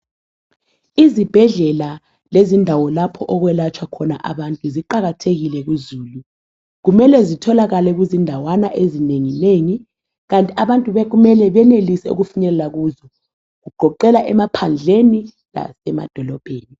Izibhedlela lezindawo lapho okwelatshwa khona abantu ziqakathekile kuzulu. Kumele zitholakale kuzindawana ezinenginengi kanti abantu bekumele benelise ukufinyelela kuzo, kugoqela emaphandleni lasemadolobheni